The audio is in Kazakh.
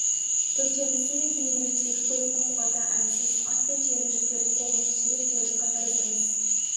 төртеуміздің де тілегеніміз екі көліктің қуаты әлсіз ат пен түйенің жүктерін қолымен сүйреп келе жатқан тәріздіміз